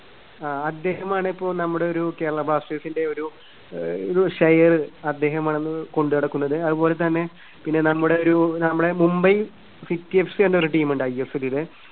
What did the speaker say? ആ അദ്ദേഹമാണ് ഇപ്പോൾ നമ്മുടെ ഒരു കേരള ബ്ലാസ്റ്റേഴ്‌സിന്റെ ഒരു അഹ് ഒരു share അദ്ദേഹമാണിന്ന് കൊണ്ടുനടക്കുന്നത്. അതുപോലെ തന്നെ പിന്നെ നമ്മുടെ ഒരു നമ്മുടെ മുംബൈ സിറ്റി എഫ് സി എന്നൊരു team ണ്ട് ഐഎസ്എല്ലില്